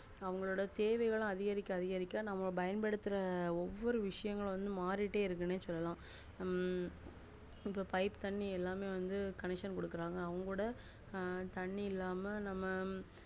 அவங்களோட தேவைகள் அதிகரிக்க அதிகரிக்க நம்மள பயன்படுத்துற ஒவ்வொரு விசயங்கள் மாறிகிட்டே இருக்கு சொல்லலாம உம் இப்போ pipe தண்ணி எல்லாமே வந்து connection குடுக்குறாங்க அவங்களோட தண்ணி இல்லாம நம்ம